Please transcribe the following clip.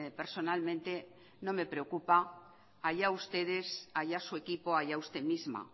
personalmente no me preocupa allá ustedes allá su equipo allá usted misma